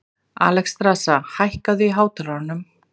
Alexstrasa, hækkaðu í hátalaranum.